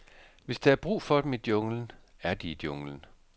Hvis der er brug for dem i junglen, er de i junglen.